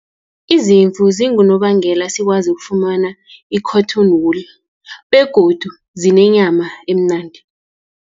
Izimvu zingunobangela sikwazi ukufumana i-cotton wool, begodu zinenyama emnandi.